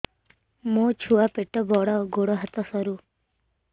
ମୋ ଛୁଆ ପେଟ ବଡ଼ ଗୋଡ଼ ହାତ ସରୁ